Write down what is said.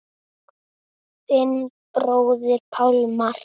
Þinn bróðir Pálmar.